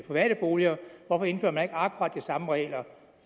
private boliger hvorfor indfører man ikke akkurat de samme regler